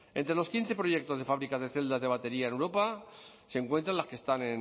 entre los quince proyectos de fábricas de celdas de batería en europa se encuentran las que están